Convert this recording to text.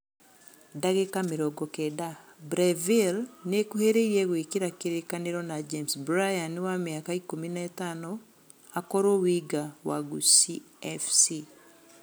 (Ndagĩka mĩrongo kenda) Breville nĩ ĩkuhĩrĩirie gwĩkĩra kĩrĩĩkanĩro na James Bryan wa mĩaka ikũmi na ĩtano akũruo Winga wa Gusii FC.